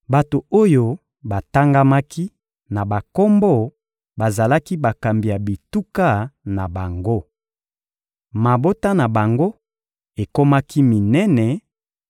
Bato oyo batangamaki na bakombo bazalaki bakambi ya bituka na bango. Mabota na bango ekomaki minene